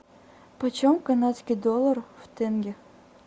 почем канадский доллар в тенге